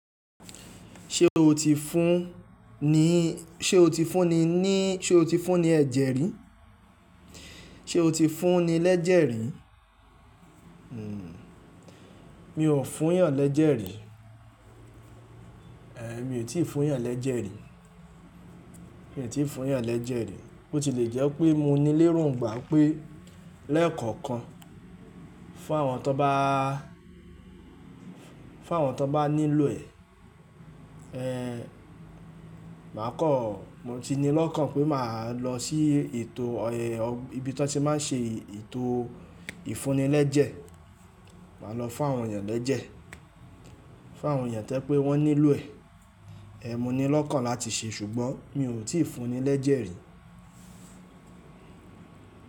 Ṣé o ti fún ni, ṣe o ti fúnni ní, ṣe o ti fúnni lẹ́jẹ̀rí? Ṣé o ti fúnni lẹ́jẹ̀rí? Hmhmm mi ò fún yàn lẹ́jẹ̀rí. Ẹ̀, mi ò tíì fún yàn lẹ́jẹ̀rí. Mi ò tíì fún yàn lẹ́jẹ̀rí. Ó ti lè jẹ́ pé mo ní lérongbà pé lẹ́ẹ̀kọ̀kan fún àwọn tó bá, fún àwọn tó bá nílò ẹ̀. Ẹ̀, màá kọ̀, mo ti ni lọ́kàn pé màá lọ sí ètò, ibi tí wọ́n ti máa ń ṣe ètò ìfúnilẹ́jẹ̀. Màá lọ fún àwọn ènìyàn lẹ́jẹ̀. Fún àwọn ènìyàn to jẹ pé wọ́n nílò ẹ̀. Ẹ̀, mo ní lọ́kàn láti ṣe ṣùgbọ́n mi ò tíì fúnni lẹ́jẹ̀rí.